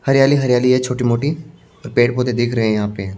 हरियाली हरियाली है छोटी-मोटी और पेड़-पौधे दिख रहे हैं यहां पे।